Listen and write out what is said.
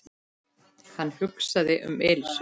Hann hugsaði um Elísu.